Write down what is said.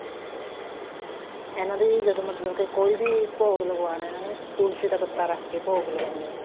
ਹਾਂ ਇਹਨਾ ਦੀ ਜਦ ਮਤਲਬ ਕੇ ਕੋਈ ਵੀ ਭੋਗ ਲਗਵਾਉਣਾ ਇਹਨਾ ਨੂੰ ਤੁਲਸੀ ਦਾ ਪੱਤਾ ਰੱਖ ਕੇ ਭੋਗ ਲਵਾਨੇ ਆ